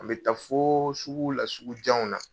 An bɛ taa fo suguw la sugu janw na.